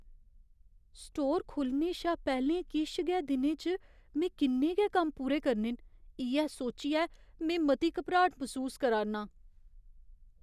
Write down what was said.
Store खु'ल्लने शा पैह्‌लें किश गै दिनें च में किन्ने गै कम्म पूरे करने न, इ'यै सोच्चियै में मती घबराट मसूस करा'रना आं।